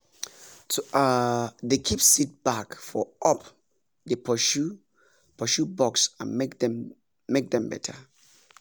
to um dey keep seed bag for up dey pursue pursue bugs and make dem better